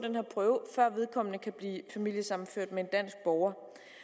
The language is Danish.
før vedkommende kan blive familiesammenført med en dansk borger